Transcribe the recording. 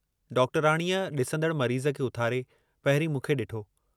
डॉक्टरयाणीअ ॾिसंदड़ मरीज़ खे उथारे, पहिरीं मूंखे ॾिठो।